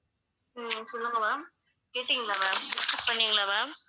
ஹம் சொல்லுங்க ma'am கேட்டீங்களா ma'am discuss பண்ணீங்களா ma'am